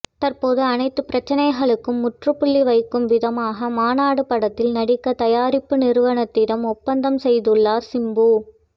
தற்போது அனைத்துப் பிரச்சனைகளுக்கும் முற்றுப்புள்ளி வைக்கும் விதமாக மாநாடு படத்தில் நடிக்க தயாரிப்பு நிறுவனத்திடம் ஒப்பந்தம் செய்துள்ளார் சிம்பு